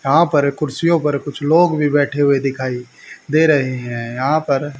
यहां पर कुर्सियों पर कुछ लोग भी बैठे हुए दिखाई दे रहे हैं। यहां पर--